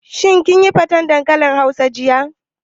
Shin kin yi faten dankalin hausa jiya?